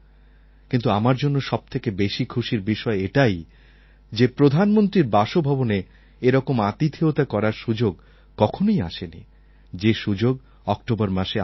কিন্তু আমার জন্য সবথেকে বেশি খুশির বিষয় এটাই যে প্রধানমন্ত্রীর বাসভবনে এরকম আতিথেয়তা করার সুযোগ কখনই আসেনি যে সুযোগ অক্টোবর মাসে আমি পাব